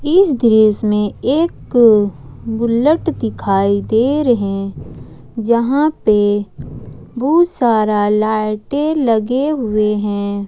इस दृश्य में एक बुलट दिखाई दे रहे जहां पे बहुत सारा लाइटें लगे हुए है।